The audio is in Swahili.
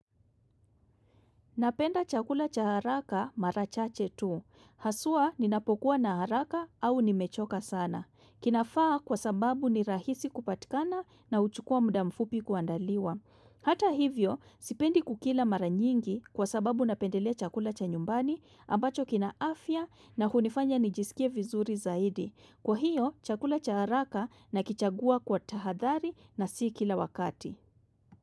Napenda chakula cha haraka mara chache tu. Haswa ninapokuwa na haraka au nimechoka sana. Kinafaa kwa sababu ni rahisi kupatikana na huchukua muda mfupi kuandaliwa. Hata hivyo, sipendi kukila mara nyingi kwa sababu napendelea chakula cha nyumbani ambacho kina afya na hunifanya nijisikie vizuri zaidi. Kwa hiyo, chakula cha haraka nakichagua kwa tahadhari na si kila wakati.